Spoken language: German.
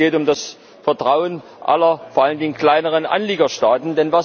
Nein, es geht um das Vertrauen aller, vor allen Dingen der kleineren, Anliegerstaaten.